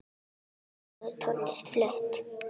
Fögur tónlist flutt.